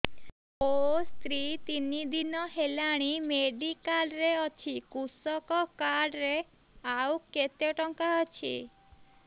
ମୋ ସ୍ତ୍ରୀ ତିନି ଦିନ ହେଲାଣି ମେଡିକାଲ ରେ ଅଛି କୃଷକ କାର୍ଡ ରେ ଆଉ କେତେ ଟଙ୍କା ଅଛି